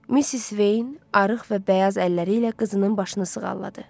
Missis Veyn arıq və bəyaz əlləri ilə qızının başını sığalladı.